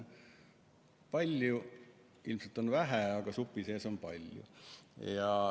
Peas on ilmselt vähe, aga supi sees on palju.